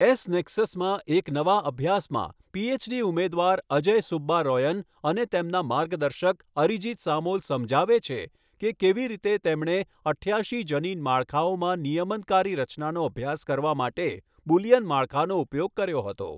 S નેક્સસમાં એક નવા અભ્યાસમાં, પીએચડી ઉમેદવાર અજય સુબ્બારોયન અને તેમના માર્ગદર્શક અરીજિત સામૉલ સમજાવે છે કે કેવી રીતે તેમણે અઠ્યાશી જનીન માળખાઓમાં નિયમનકારી રચનાનો અભ્યાસ કરવા માટે બુલિયન માળખાનો ઉપયોગ કર્યો હતો.